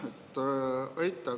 Aitäh!